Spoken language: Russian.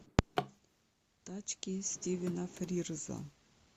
тачки стивена фрирза